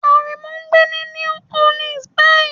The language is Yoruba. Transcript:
Aremu ń gbé ní New Orleans báyìí.